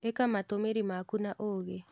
ĩka matũmĩri maku na ũũgĩ.